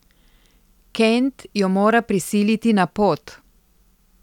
Kent jo mora prisiliti na pot.